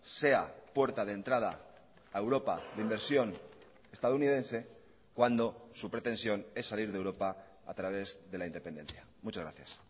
sea puerta de entrada a europa de inversión estadounidense cuando su pretensión es salir de europa a través de la independencia muchas gracias